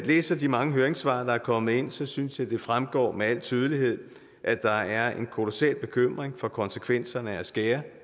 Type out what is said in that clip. læser de mange høringssvar der er kommet ind synes synes jeg det fremgår med al tydelighed at der er en kolossal bekymring for konsekvenserne af at skære